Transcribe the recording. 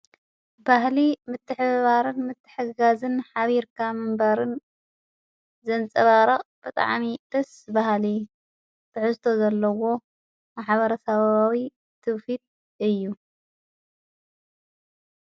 ባህሊ ምትኅባርን ምትሕጋዝን ኃቢርካ ምንባርን ዘንጸባራቕ ብጥዓሚ ጥስ ባሃሊ ትዕስቶ ዘለዎ ማሓበረ ሰብባዊ ትፊድ እዩ።